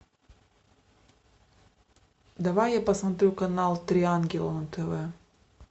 давай я посмотрю канал три ангела на тв